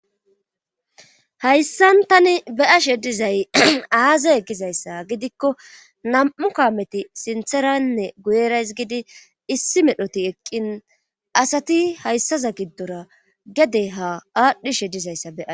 hayssan tani be'ashe dizay aaze gizayssa gidikko nam'u kaameti sintheranne guyerays gidi issi medhoti eqqin asati hayssaza giddora gede ha aadhdhishe dizayssa be'ays